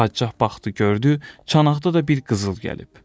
Padşah baxdı gördü, çanaqda da bir qızıl gəlib.